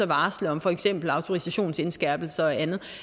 varsle om for eksempel autorisationsindskærpelser og andet